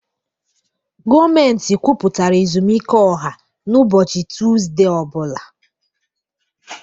Gọọmentị kwupụtara ezumike ọha na ubochi Tuzdee o bula.